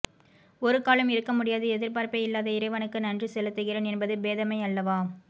ஒருக்காலும் இருக்க முடியாது எதிர்பார்ப்பே இல்லாத இறைவனுக்கு நன்றி செலுத்துகிறேன் என்பது பேதமை அல்லவா